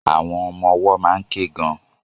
Àwọn ọmọ-ọwọ́ máa ń ké gan-an